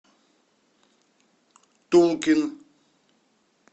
тулкин